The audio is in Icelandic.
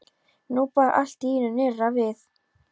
Nú bar allt í einu nýrra við.